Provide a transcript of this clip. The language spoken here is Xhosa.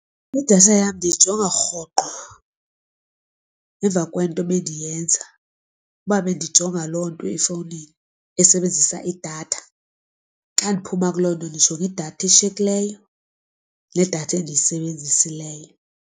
Idatha yam ndiyijonga rhoqo emva kwento ebendiyenza. Uba bendijonga loo nto efowunini esebenzisa idatha xa ndiphuma kuloo nto ndijonga idatha eshiyekileyo nedatha endiyisebenzisileyo.